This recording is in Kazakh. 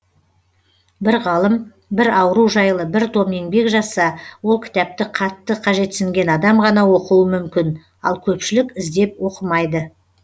бір ғалым бір ауру жайлы бір том еңбек жазса ол кітапті қатты қажетсінген адам ғана оқуы мүмкін ал көпшілік іздеп оқымайды